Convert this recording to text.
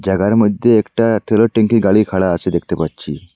থাকার মইধ্যে একটা থেলের ট্যাংকির গাড়ি খাড়া আছে দেখতে পাচ্ছি।